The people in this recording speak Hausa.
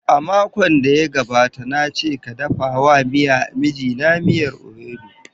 A makon da ya gabata na ce ka dafa wa mijina miyar ewedu.